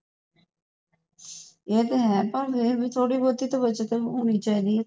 ਏ ਤਾ ਹੈ ਪਰ ਏ ਹੈ ਥੋੜੀ ਬਹੁਤੀ ਬਚਤ ਹੋਣੀ ਚਾਹੀਦੀ ਹੈ